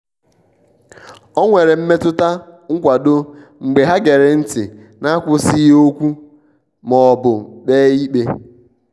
o nwere mmetụta nkwado mgbe ha gere ntị n'akwụsịghị okwu ma ọ bụ kpee ikpe.